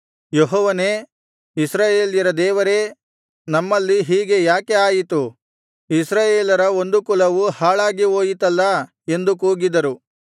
ಯೆಹೋವನೇ ಇಸ್ರಾಯೇಲ್ಯರ ದೇವರೇ ನಮ್ಮಲ್ಲಿ ಹೀಗೆ ಯಾಕೆ ಆಯಿತು ಇಸ್ರಾಯೇಲರ ಒಂದು ಕುಲವು ಹಾಳಾಗಿ ಹೋಯಿತಲ್ಲಾ ಎಂದು ಕೂಗಿದರು